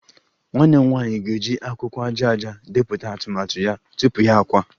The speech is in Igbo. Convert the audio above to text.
Nwanne m nwanyị ga-eji akwụkwọ aja aja depụta atụmatụ ya tupu ya akwa